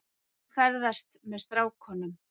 Nú, ferðast með strákunum.